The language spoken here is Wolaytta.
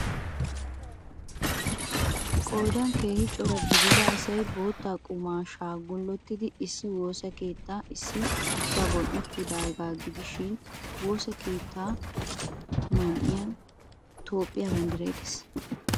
Qoodan keehi cora gidida asay bootta qumaashshaa gullettidi issi woosa keettaa ssi zagon uttidaageeta gidishin, woosa keettaa man'iyaan Toophphiyaa banddiray de'ees.